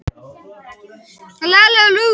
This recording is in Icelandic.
Sá einstaklingur hefur sama erfðaefni og hinn fyrri.